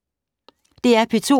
DR P2